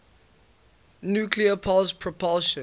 nuclear pulse propulsion